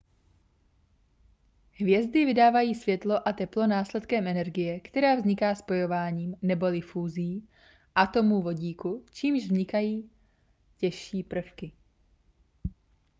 hvězdy vydávají světlo a teplo následkem energie která vzniká spojováním neboli fúzí atomů vodíku čímž vznikají těžší prvky